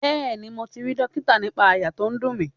Bẹẹni, mo ti rí dókítà nípa àyà tó ń dùn mí.